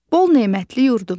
Bol nemətli yurdumuz.